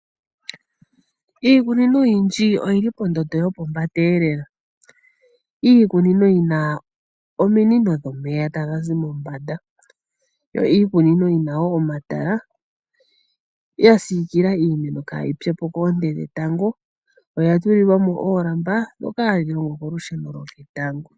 Iikunino oyindji oyili pondondo yopombanda lela, iikunino yina omiinino dhomeya tangazi mombanda yo iikunino yina wo omatala yasikila iimeno kayitsepo koonte dhetango oya tulilwamo oolamba dhoka hadhilongo kolusheno lwetango.